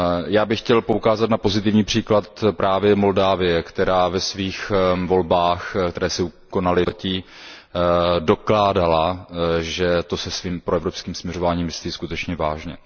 Já bych chtěl poukázat na pozitivní příklad právě Moldávie, která ve svých volbách, které se konaly v minulém pololetí, ukázala, že to se svým proevropským směřováním myslí skutečně vážně.